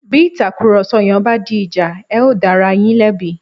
Bí ìtàkùrọ̀sọ yẹn bá di ìjà, ẹ̀ ó dá ara yín lẹ́bi